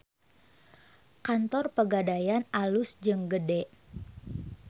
Kantor Pegadaian alus jeung gede